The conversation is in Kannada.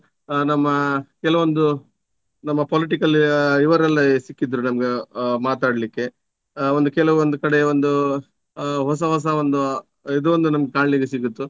ಆ ನಮ್ಮ ಕೆಲವೊಂದು ನಮ್ಮ political ಆ ಇವರೆಲ್ಲ ಸಿಕ್ಕಿದರು ನಮ್ಗೆ ಆ ಮಾತಾಡ್ಲಿಕ್ಕೆ. ಆ ಒಂದು ಕೆಲವೊಂದು ಕಡೆ ಒಂದು ಹೊಸ ಹೊಸ ಒಂದು ಇದೊಂದು ನಮಿಗ್ ಕಾಣ್ಲಿಕ್ಕೆ ಸಿಗುತ್ತು.